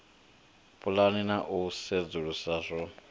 pulana na u sedzulusa zwo